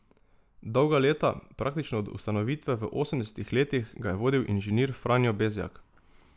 Dolga leta, praktično od ustanovitve v osemdesetih letih, ga je vodil inženir Franjo Bezjak.